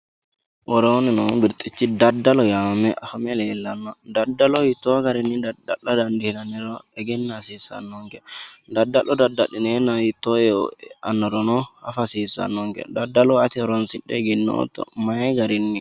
Woroonni noo birxichi daddalo yee afame leellano daddalo hiitto garinni dadda'la dandiinanniro egena hasiisanonke daddalo daddalinenna hiitto eo aanorono affa hasiisanonke daddolo ati horonsidhe egenootto mayi garinni?